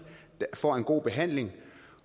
får en god behandling